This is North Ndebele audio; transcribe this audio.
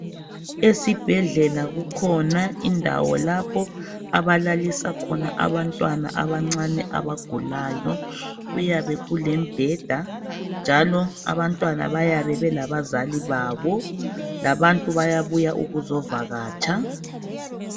Esibhedlela kukhona indawo lapho abalalisa khona abantwana abancane abagulayo kuyabe kulebheda njalo abantwana bayabe belabazali babo labantu bayabuya ukuzovakatsha.